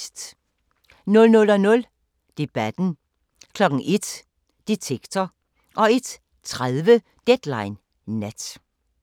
00:00: Debatten * 01:00: Detektor * 01:30: Deadline Nat